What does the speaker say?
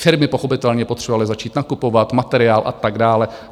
Firmy pochopitelně potřebovaly začít nakupovat materiál a tak dále.